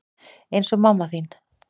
Eins og mamma þín.